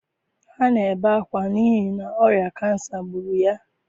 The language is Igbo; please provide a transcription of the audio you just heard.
ha na-ebe akwa n’ihi na ọrịa kansa gburu ya.